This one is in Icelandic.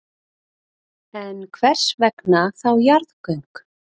En hvers vegna þá jarðgöng?